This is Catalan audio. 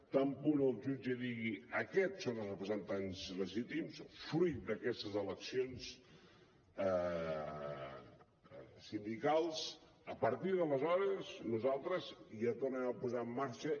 tan bon punt el jutge digui aquests són els representants legítims fruit d’aquestes eleccions sindicals a partir d’aleshores nosaltres ja tornarem a posar en marxa